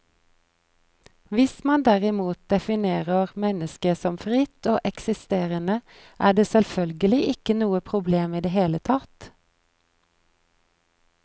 Hvis man derimot definerer mennesket som fritt og eksisterende, er det selvfølgelig ikke noe problem i det hele tatt.